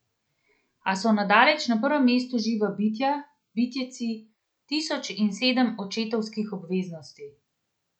A so daleč na prvem mestu živa bitja, bitjeci, tisoč in sedem očetovskih obveznosti.